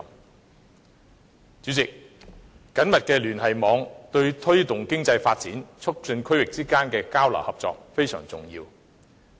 代理主席，緊密的聯繫網對推動經濟發展、促進區域之間的交流合作非常重要。